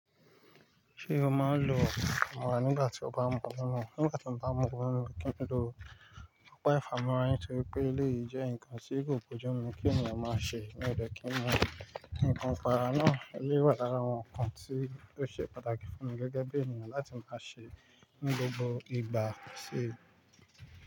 Ṣé o máa ń lo ọpa ifamura nígbà tí o bá ń mú omi? Nígbà tí mo bá ń mú omi, mi kí n lo pápá ìfámọ́ra yín torípé ilé yìí jẹ́ nǹkan tí kò boju mu kí ènìyàn máa ṣe, mí ò dẹ́kìí mú nǹkan ọfànúrà náà, ilé wà lára àwọn nǹkan tí ó ṣe pàtàkì fún mi gẹ́gẹ́ bí ènìyàn láti máa ṣe ní gbogbo ìgbà ṣe.